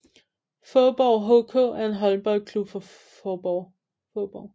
Faaborg HK er en håndboldklub fra Faaborg